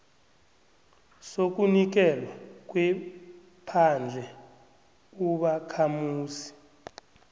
sokunikelwa kwephandle ubakhamuzi